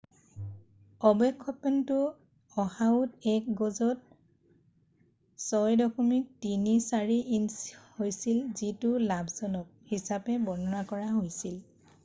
"অৱক্ষেপনটো অ'হাওত এক গজত ৬.৩৪ ইঞ্চি হৈছিল যিটো "লাভজনক" হিচাপে বৰ্ণনা কৰা হৈছিল।""